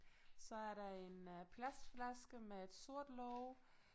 Så er der en øh plastflaske med et sort låg